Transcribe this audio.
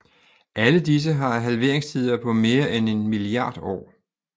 Alle disse har halveringstider på mere end en milliard år